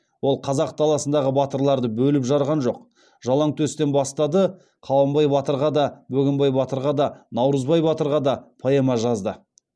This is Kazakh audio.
ол қазақ даласындағы батырларды бөліп жарған жоқ жалаңтөстен бастады қабанбай батырға да бөгенбай батырға да наурызбай батырға да поэма жазды